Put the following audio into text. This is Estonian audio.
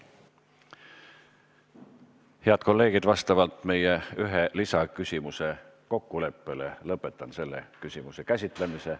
Head kolleegid, vastavalt kokkuleppele, et lisaküsimusi on vaid üks, lõpetan selle teema käsitlemise.